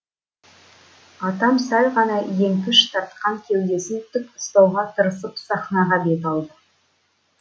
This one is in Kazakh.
атам сәл ғана еңкіш тартқан кеудесін тік ұстауға тырысып сахнаға бет алды